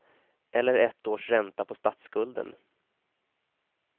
Eller ett års ränta på statsskulden.